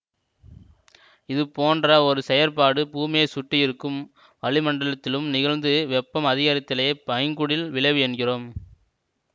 இது போன்ற ஒரு செயற்பாடு பூமியை சுற்றியிருக்கும் வளிமண்டலத்திலும் நிகழ்ந்து வெப்பம் அதிகரித்தலையே பைங்குடில் விளைவு என்கிறோம்